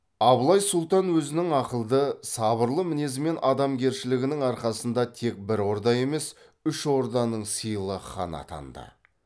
абылай сұлтан өзінің ақылды сабырлы мінезі мен адамгершілігінің арқасында тек бір орда емес үш орданың сыйлы ханы атанды